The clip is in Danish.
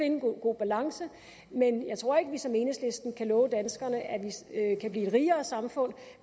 en god balance men jeg tror ikke at vi som enhedslisten kan love danskerne at vi kan blive et rigere samfund